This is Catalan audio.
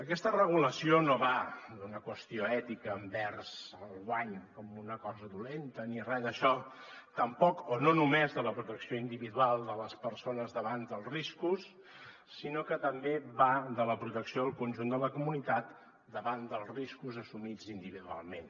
aquesta regulació no va d’una qüestió ètica envers el guany com una cosa dolenta ni re d’això tampoc o no només de la protecció individual de les persones davant dels riscos sinó que també va de la protecció del conjunt de la comunitat davant dels riscos assumits individualment